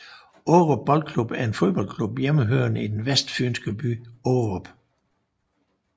Aarup Boldklub er en fodboldklub hjemmehørende i den vestfynske by Aarup